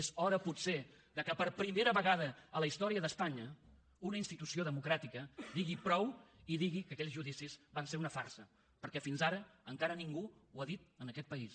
és hora potser que per primera vegada a la història d’espanya una institució democràtica digui prou i digui que aquells judicis van ser una farsa perquè fins ara encara ningú ho ha dit en aquest país